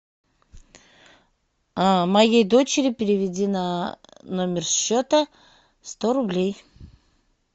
моей дочери переведи на номер счета сто рублей